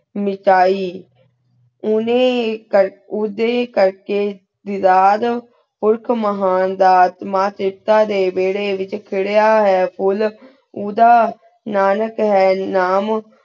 Mickey ਉਨੀਂ ਉਧਯ ਕਾਰਕੀ ਦੇਦਾਹ੍ਦ ਉਖ ਮੇਹਣ ਦਾ ਮਾਨ ਤੇਤਾ ਡੀ ਵੇਰੀ ਵੇਰੀ ਵੇਚ ਖਿਰੇਹਾਂ ਹੂਯ ਫੁਲ ਉਧਾ ਨਾਨਿਕ ਹੈਂ ਨਾਮ